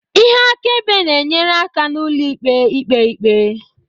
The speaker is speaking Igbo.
ihe akaebe na-enyere aka ụlọikpe ikpe ikpe